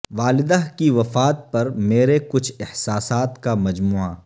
والدہ کی وفات پر میرے کچھ احساسات کا مجموعہ